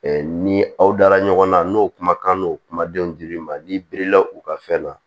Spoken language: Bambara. ni aw dara ɲɔgɔn na n'o kumakan n'o kumadenw dir'i ma n'i birila u ka fɛn na